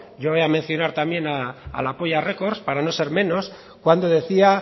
yo voy a mencionar también a la polla records para no ser menos cuando decía